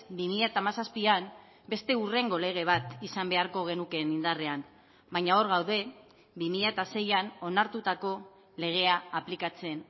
bi mila hamazazpian beste hurrengo lege bat izan beharko genukeen indarrean baina hor gaude bi mila seian onartutako legea aplikatzen